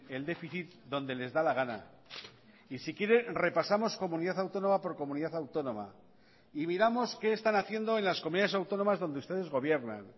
el déficit donde les da la gana y si quiere repasamos comunidad autónoma por comunidad autónoma y miramos que están haciendo en las comunidades autónomas donde ustedes gobiernan